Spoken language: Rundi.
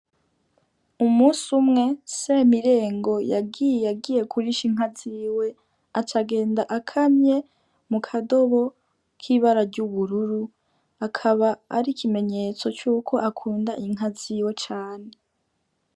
Umusi umwe, Semirengo yagiye agiye kurisha inka ziwe aca agenda akamye mu kadobo k'ibara ry'ubururu, akaba ari ikimenyetso cuko akunda inka ziwe cane.